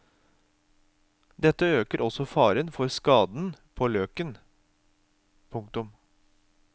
Dette øker også faren for skade på løken. punktum